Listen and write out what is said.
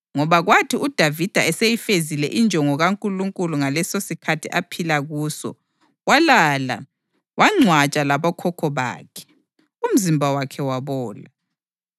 Ngoba kwathi uDavida eseyifezile injongo kaNkulunkulu ngalesosikhathi aphila kuso, walala; wangcwatshwa labokhokho bakhe, umzimba wakhe wabola.